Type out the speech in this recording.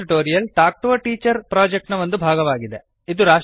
spoken tutorial talk to a teacher project ನ ಒಂದು ಭಾಗವಾಗಿದೆ